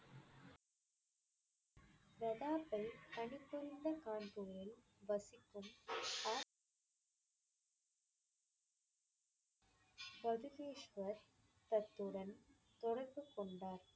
பிரதாப்பை வசிக்கும் அ~ பதுகேஸ்வர் தத்துடன் தொடர்பு கொண்டார்.